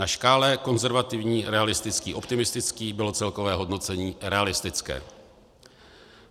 Na škále konzervativní - realistický - optimistický bylo celkové hodnocení realistické.